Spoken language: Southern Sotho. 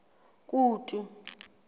kutu